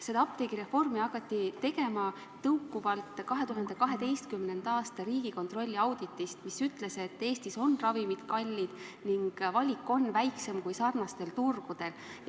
Seda apteegireformi hakati tegema tõukuvalt 2012. aasta Riigikontrolli auditist, mis ütles, et Eestis on ravimid kallid ning valik on väiksem kui teistel sarnastel turgudel.